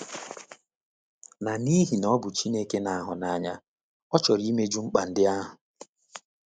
Na n’ihi na ọ bụ Chineke na-ahụ n’anya, ọ chọrọ imeju mkpa ndị ahụ.